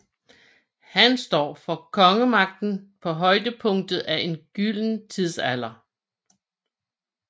Han står for kongemagten på højdepunktet af en gylden tidsalder